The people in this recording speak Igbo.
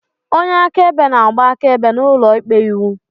Onye akaebe na-agba akaebe n'ụlọikpe iwu.